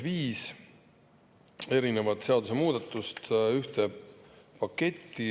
Viie seaduse muudatused on seotud kõik ühte paketti.